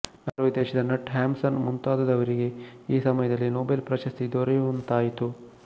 Norway ದೇಶದ Knut Hamsun ಮುಂತಾದವರಿಗೆ ಈ ಸಮಯದಲ್ಲಿ ನೊಬೆಲ್ ಪ್ರಶಸ್ತಿ ದೊರೆಯುವಂತಾಯಿತು